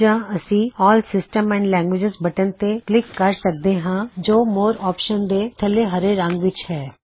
ਜਾੰ ਅਸੀ all systems and languages button ਤੇ click ਕਰ ਸਕਦੇ ਹਾਂ ਜੋ ਮੋਰ ਔਪਸ਼ਨਜ਼ ਦੇ ਥੱਲੇ ਹਰੇ ਰੰਗ ਵਿੱਚ ਹੈ